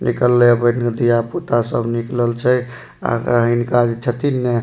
निकलले ये बेन्ह के धिया पुता सब निकलल छै अहां के हिनका जे छथीन ने --